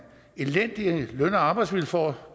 elendige løn og arbejdsvilkår